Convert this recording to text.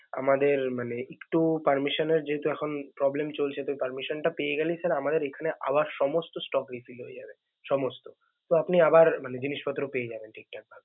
আমাদের মানে একটু permission এর যেহেতু এখন problem চলছে তো permission টা পেয়ে গেলেই sir আমাদের এখানে আবার সমস্ত stock refill হয়ে যাবে.